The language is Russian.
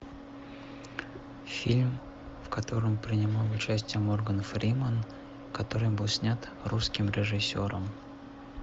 фильм в котором принимал участие морган фримен который был снят русским режиссером